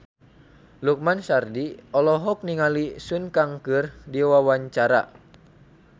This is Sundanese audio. Lukman Sardi olohok ningali Sun Kang keur diwawancara